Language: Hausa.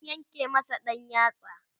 an yanke masa ɗan yatsa